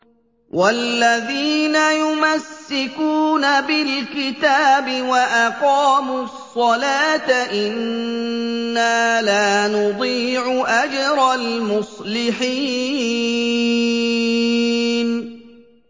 وَالَّذِينَ يُمَسِّكُونَ بِالْكِتَابِ وَأَقَامُوا الصَّلَاةَ إِنَّا لَا نُضِيعُ أَجْرَ الْمُصْلِحِينَ